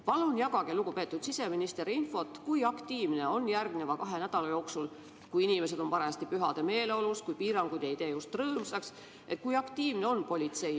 Palun jagage, lugupeetud siseminister, infot, kui aktiivne on järgmise kahe nädala jooksul, kui inimesed on pühademeeleolus ja piirangud ei tee just rõõmsaks, politsei.